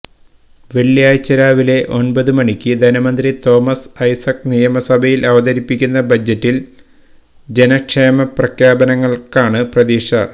വെള്ളിയാഴ്ച രാവിലെ ഒന്പതുമണിക്ക് ധനമന്ത്രി തോമസ് ഐസക് നിയമസഭയിൽ അവതരിപ്പിക്കുന്ന ബജറ്റിൽ ജനക്ഷേമപ്രഖ്യാപനങ്ങളാണ് പ്രതീക്ഷിക്ക